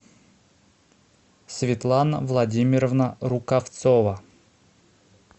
светлана владимировна рукавцова